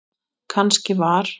Kannski var